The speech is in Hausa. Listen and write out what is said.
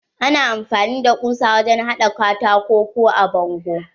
Ana amfani da ƙusa wajen haɗa katako ko a bango.